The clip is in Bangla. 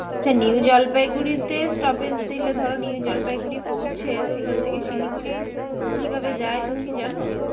আচ্ছা নিউ জলপাইগুড়িতে stoppage দিলে ধরো নিউ জলপাই গুড়ি পৌঁছে সেখান থেকে শিলিগুড়ি কিভাবে যায় তুমি কি জানো?